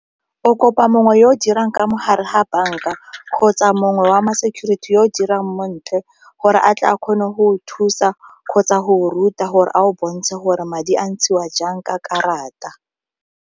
O kopa mongwe yo o dirang ka mogare ga banka kgotsa mongwe wa ma security yo o dirang mo ntle gore a tle a kgone go thusa kgotsa go ruta gore a o bontshe gore madi a ntshiwa jang ka karata.